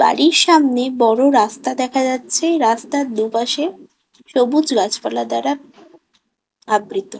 '' বাড়ির সামনে বড় রাস্তা দেখা যাচ্ছে রাস্তার দু''''পাশে সবুজ গাছপালা দ্বারা আবৃত। ''